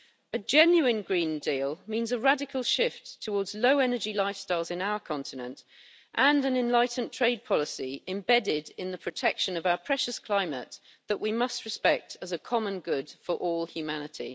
A genuine green deal means a radical shift towards low-energy lifestyles in our continent and an enlightened trade policy embedded in the protection of our precious climate, which we must respect as a common good for all humanity.